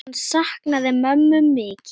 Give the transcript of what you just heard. Hann saknaði mömmu mikið.